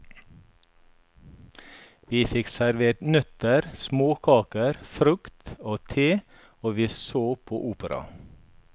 Vi fikk servert nøtter, småkaker, frukt og te og vi så på opera.